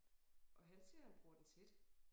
Og han siger han bruger den tit